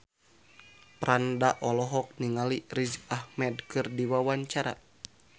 Franda olohok ningali Riz Ahmed keur diwawancara